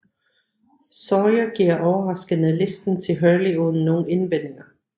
Sawyer giver overraskende listen til Hurley uden nogen indvendinger